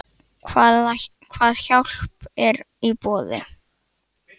Hvað hjálp er í boði?